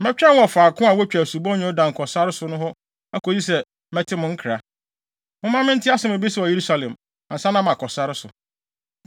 Mɛtwɛn wɔ faako a wotwa Asubɔnten Yordan kɔ sare no so hɔ akosi sɛ mɛte mo nkra. Momma mente asɛm a ebesi wɔ Yerusalem, ansa na makɔ sare so.”